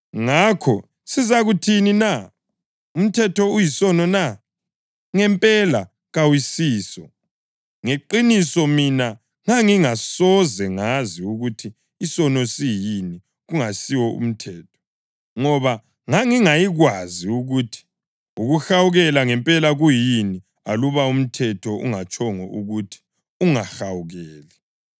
Ngakho sizakuthini na? Umthetho uyisono na? Ngempela kawusiso! Ngeqiniso mina ngangingasoze ngazi ukuthi isono siyini kungesiwo umthetho. Ngoba ngangingayikwazi ukuthi ukuhawukela ngempela kuyini aluba umthetho ungatshongo ukuthi, “Ungahawukeli.” + 7.7 U-Eksodasi 20.17; UDutheronomi 5.21